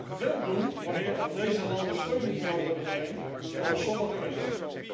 Dat zou het wel doen, wanneer aan deze landen steun zou worden verleend, zoals sommigen wensen.